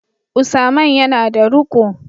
Usaman yana da ruqo